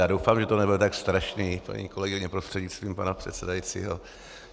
Já doufám, že to nebude tak strašné, paní kolegyně prostřednictvím pana předsedajícího.